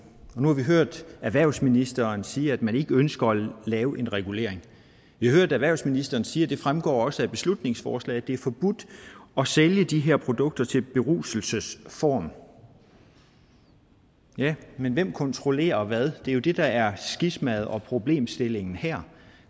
nu har vi hørt erhvervsministeren sige at man ikke ønsker at lave en regulering vi har hørt erhvervsministeren sige og det fremgår også af beslutningsforslaget at det er forbudt at sælge de her produkter til beruselsesformål ja men hvem kontrollerer hvad det det der er skismaet og problemstillingen her